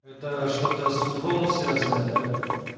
это что-то с футболом связанная да